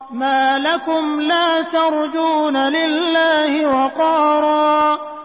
مَّا لَكُمْ لَا تَرْجُونَ لِلَّهِ وَقَارًا